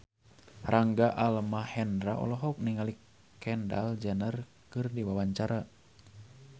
Rangga Almahendra olohok ningali Kendall Jenner keur diwawancara